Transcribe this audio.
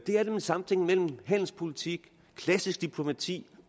er nemlig samtænkningen handelspolitik klassisk diplomati